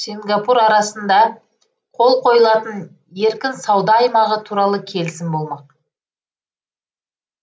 сингапур арасында қол қойылатын еркін сауда аймағы туралы келісім болмақ